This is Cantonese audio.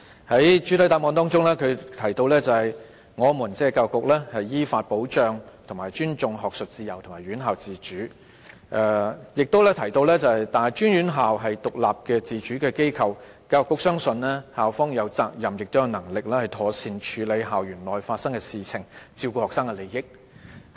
局長在主體答覆中提到，"我們依法保障和尊重學術自由和院校自主"，亦提到"大專院校是獨立自主的機構。教育局相信，校方有責任亦有能力妥善處理校園內發生的事情，照顧學生的利益"。